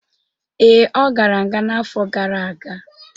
Ee, ọ gara nga n'afọ gara aga.